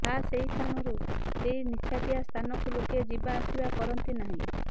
ଖାସ୍ ଏହି କାରଣରୁ ସେହି ନିଛାଟିଆ ସ୍ଥାନକୁ ଲୋକେ ଯିବା ଆସିବା କରନ୍ତି ନାହିଁ